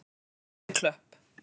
Efri Klöpp